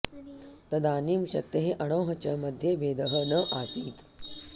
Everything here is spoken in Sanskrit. तदानीं शक्तेः अणोः च मध्ये भेदः न आसीत्